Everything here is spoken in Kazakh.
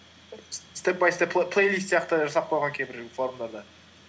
степ бай степ плейлист сияқты жасап қойған кейбір форумдарда